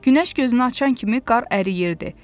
Günəş gözünü açan kimi qar əriyirdi.